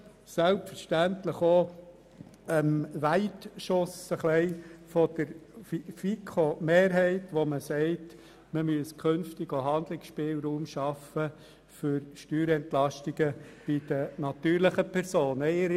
Selbstverständlich stimmen wir auch dem Weitschuss der FiKoMehrheit zu, der verlangt, einen Handlungsspielraum für Steuerentlastungen bei den natürlichen Personen zu schaffen.